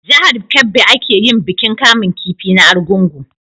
Jahar kebbi a ke yin bikin kamun kifi na argungu